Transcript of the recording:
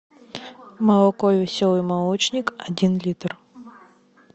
молоко веселый молочник один литр